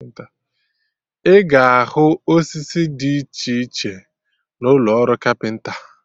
Ị ga ahụ osisi Did iche iche na ụlọ ọrụ kapịnta